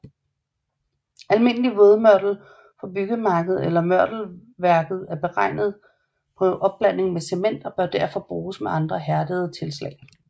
Almindelig vådmørtel fra byggemarkedet eller mørtelværket er beregnet på opblanding med cement og bør derfor bruges med andre hærdende tilslag